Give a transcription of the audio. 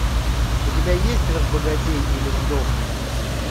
у тебя есть разбогатей или сдохни